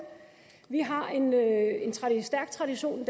vi har en stærk tradition i